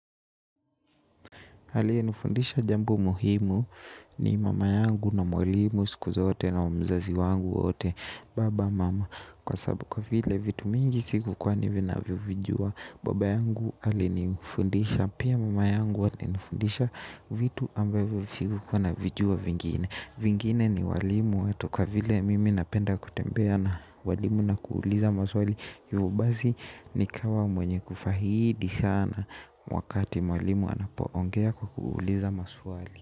Hali hii hunifundisha jambo muhimu ni mama yangu na mwalimu siku zote na mzazi wangu wote baba mama. Kwa sababu kwa vile vitu mingi siku kwa ni vinavyovijua baba yangu alinifundisha. Pia mama yangu alinifundisha vitu ambavyo vikukuwa navijua vingine. Vingine ni walimu wetu kwa vile mimi napenda kutembea na walimu na kuuliza maswali hivyo basi nikawa mwenye kufahidi sana wakati mwalimu anapoongea kwa kuuliza maswali.